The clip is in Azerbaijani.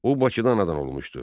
O Bakıda anadan olmuşdu.